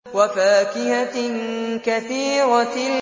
وَفَاكِهَةٍ كَثِيرَةٍ